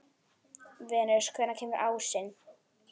Venus, hvenær kemur ásinn?